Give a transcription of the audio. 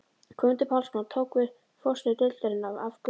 Guðmundur Pálmason tók við forstöðu deildarinnar af Gunnari.